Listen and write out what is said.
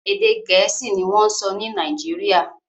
Èdè Gẹ̀ẹ́sì ni wọ́n ń sọ Nàìjíríà